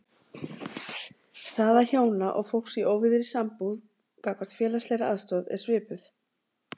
Staða hjóna og fólks í óvígðri sambúð gagnvart félagslegri aðstoð er svipuð.